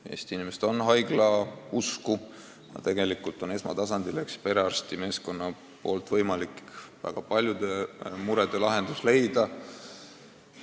Eesti inimesed on haiglausku, aga tegelikult suudab perearsti meeskond väga paljudele muredele lahenduse leida.